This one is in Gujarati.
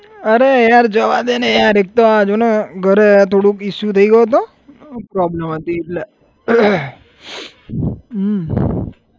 અરે યાર જવા દે ને યાર, એક તો આ જો ને ઘરે થોડું issue થઇ ગયો હતો problem હતી એટલે હમ